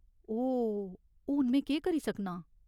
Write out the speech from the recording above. ओह् ! हून में केह् करी सकनां ?